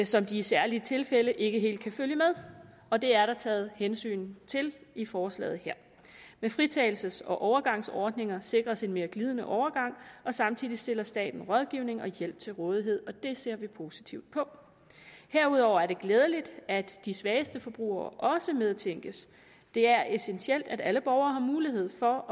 som de i særlige tilfælde ikke helt kan følge med og det er der taget hensyn til i forslaget her med fritagelses og overgangsordninger sikres en mere glidende overgang og samtidig stiller staten rådgivning og hjælp til rådighed og det ser vi positivt på herudover er det glædeligt at de svageste forbrugere også medtænkes det er essentielt at alle borgere har mulighed for